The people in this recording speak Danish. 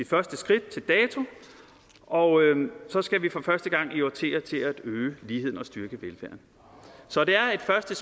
første skridt til dato og så skal vi for første gang i årtier til at øge ligheden og styrke velfærden så det er et første